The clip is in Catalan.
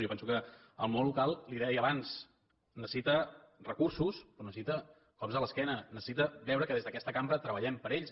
jo penso que el món local li ho deia abans necessita recursos però necessita cops a l’esquena necessita veure que des d’aquesta cambra treballem per a ells